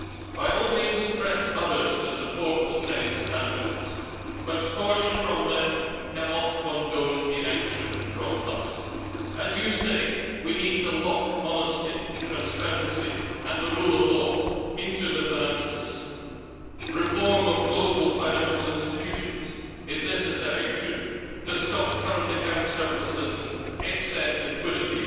By all means press others to support the same standards, but caution from them cannot condone inaction from us. As you say, we need to lock honesty, transparency and the rule of law into the financial system. Reform of global financial institutions is necessary too, to stop current account surpluses and excess liquidity